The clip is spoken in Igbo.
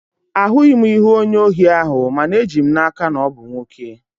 Ahụghị m ihu onye ohi ahụ, mana eji m n'aka na ọ bụ nwoke